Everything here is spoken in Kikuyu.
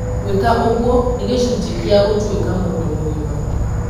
Gwĩka ũguo nĩ gĩcunjĩ kĩa gũtuĩka mũndũ mũgima.